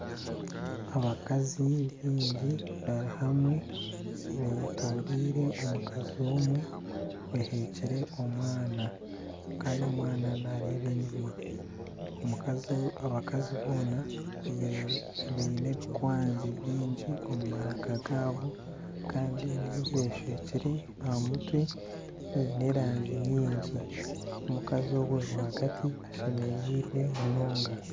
Abakazi baingi bari hamwe betoreire omukazi omwe oheekire omwana kandi omwana nareeba enyuma abakazi boona baine ebikwanzi bingi omu maraka gaabo kandi ahaine ebi beshwekire aha mutwe byine erangi nyingi omukazi ogwe rwagati ashemereirwe munonga.